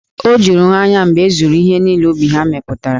O juru ha anya mgbe e zuru ihe niile ubi ha mepụtara.